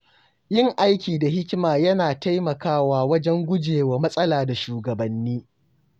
Yin aiki da hikima yana taimakawa wajen gujewa matsala da shugabanni.